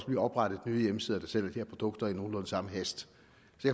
blive oprettet nye hjemmesider der sælger produkter i nogenlunde samme hast